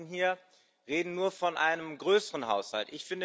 Die meisten hier reden nur von einem größeren Haushalt.